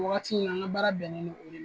Wagati in na n ka baara bɛnnen do o de la.